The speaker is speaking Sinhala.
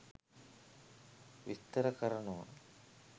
විස්තර කරනව